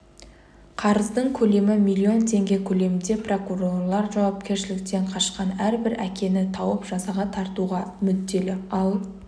қарыздың көлемі миллион теңге көлемінде прокурорлар жауапкершіліктен қашқан әрбір әкені тауып жазаға тартуға мүдделі ал